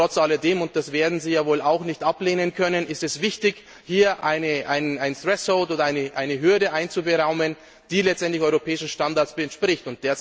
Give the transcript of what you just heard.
Aber trotz alledem und das werden Sie ja wohl auch nicht ablehnen können ist es wichtig, hier eine oder eine Hürde einzuberaumen, die letztendlich europäischen Standards entspricht.